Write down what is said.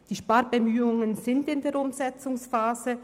Die Sparbemühungen sind in der Umsetzungsphase.